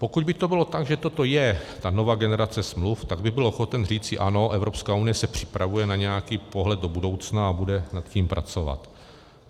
Pokud by to bylo tak, že toto je ta nová generace smluv, tak bych byl ochoten říci Ano, Evropská unie se připravuje na nějaký pohled do budoucna a bude nad tím pracovat.